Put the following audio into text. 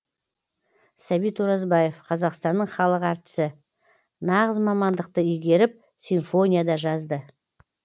сәбит оразбаев қазақстанның халық әртісі нағыз мамандықты игеріп симфония да жазды